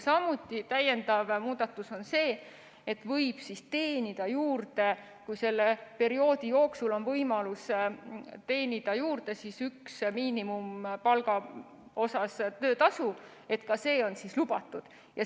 Samuti on täiendav muudatus see, et võib teenida juurde, kui selle perioodi jooksul on selline võimalus, ühe miinimumpalga suuruses töötasu, ka see on lubatud.